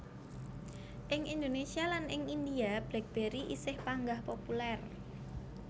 Ing Indonésia lan ing India BlackBerry isih panggah populèr